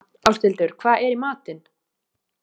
Ásthildur, hvað er í matinn?